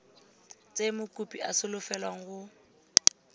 tse mokopi a solofelwang go